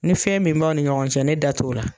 Ni fɛn min b'aw ni ɲɔgɔn cɛ, ne da t'o la.